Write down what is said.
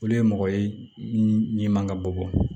Olu ye mɔgɔ ye min man ka bɔ